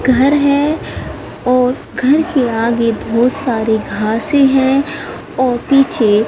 घर है और घर के आगे बहोत सारे घासे हैं और पीछे--